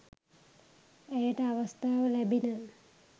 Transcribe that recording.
ඇයට අවස්ථාව ලැබිණ